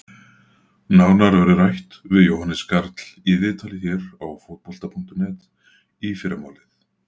Nánar verður rætt við Jóhannes Karl í viðtali hér á Fótbolta.net í fyrramálið.